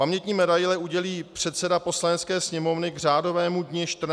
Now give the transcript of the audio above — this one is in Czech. Pamětní medaile udělí předseda Poslanecké sněmovny k řádovému dni 14. listopadu.